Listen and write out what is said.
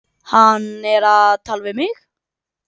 Hann er að tala við mig.